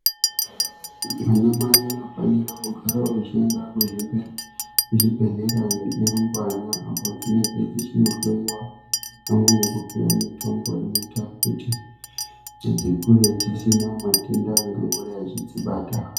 Anamai anofanirwa kugarawo echiende kuzvibhedhlera nerumbwana apodzinenge dzichinohloyiwa pamwe nekupiwe mitombo inoite kuti dzikure dzisina matenda angangodai echidzibata.